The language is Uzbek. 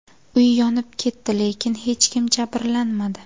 Uy yonib ketdi, lekin hech kim jabrlanmadi.